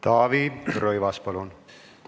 Taavi Rõivas, palun!